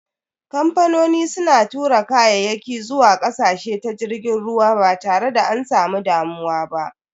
Kamfanoni suna tura kayaki zuwa ƙasashe ta jirgin ruwa ba tare da an samu damuwa ba.